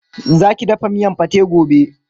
Zaki dafa miyan pate gobe.